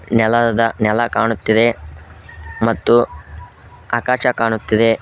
ನೆಲದ ನೆಲ ಕಾಣುತ್ತಿದೆ ಮತ್ತು ಆಕಾಶ ಕಾಣುತ್ತಿದೆ.